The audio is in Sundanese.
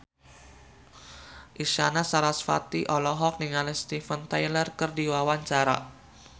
Isyana Sarasvati olohok ningali Steven Tyler keur diwawancara